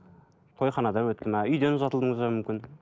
тойханада өтті ме үйден ұзатылдыңыз ба мүмкін